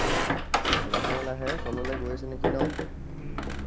লাহে লাহে তললৈ গৈছে নেকি ন?